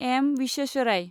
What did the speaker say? M. Visvesvaraya